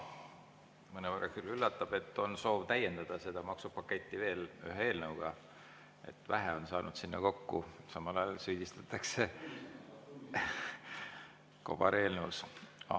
Mõnevõrra küll üllatab, et on soov täiendada seda maksupaketti veel ühe eelnõuga, et nagu vähe on saanud sinna kokku, aga samal ajal süüdistatakse kobareelnõu esitamises.